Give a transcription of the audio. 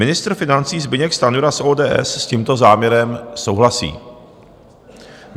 Ministr financí Zbyněk Stanjura z ODS s tímto záměrem souhlasí.